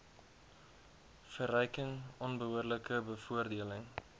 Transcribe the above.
verryking onbehoorlike bevoordeling